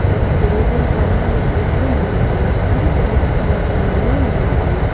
ఒక టేబుల్ పైన లైట్ లు ఉన్నాయి అవి తెలుపు కలర్ రంగులో ఉన్నాయి.